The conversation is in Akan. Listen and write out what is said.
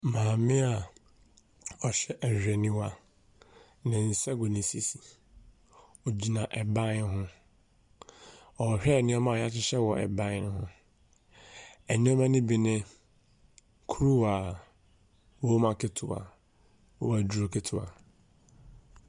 Maame a ɔhyɛ ahwehwɛniwa. Ne nsa gu ne sisi. Ɔgyina ban ho. Ɔrehyɛ nneɛma a wɔhyehyɛ wɔ ban no ho. Nneɛma no bi ne kuruwa. Wɔma ketewa. Waduro ketewa.